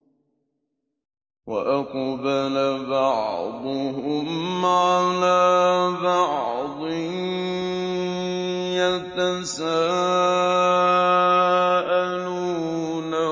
وَأَقْبَلَ بَعْضُهُمْ عَلَىٰ بَعْضٍ يَتَسَاءَلُونَ